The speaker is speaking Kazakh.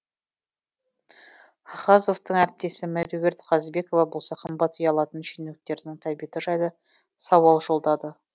хахазовтың әріптесі меруерт қазбекова болса қымбат үй алатын шенеуніктердің тәбеті жайлы сауал жолдады